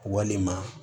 Walima